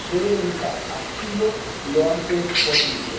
Deben estar activos lo antes posible.